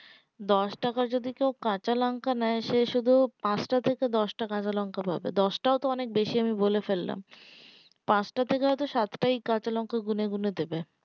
দশ টাকা যদি কেও কাঁচ লঙ্কা নেই সেই শুধু পাঁচ টা থেকে দশ টা কাঁচ লঙ্কা ধরবে দশ টাও তো অনেক বেশি বোলে ফেললাম পাঁচ টা বা সাতটা কাঁচ লঙ্কা গুনে গুনে দেবে